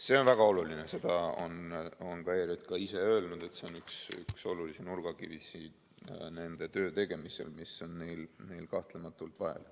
See on väga oluline, seda on ka ERJK ise öelnud, et see on üks nurgakive nende töö tegemisel, mida on neil kahtlematult vaja.